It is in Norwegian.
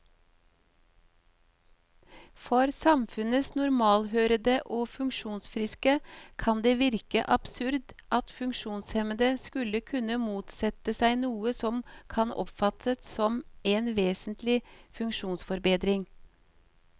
For samfunnets normalthørende og funksjonsfriske kan det virke absurd at funksjonshemmede skulle kunne motsette seg noe som kan oppfattes som en vesentlig funksjonsforbedring.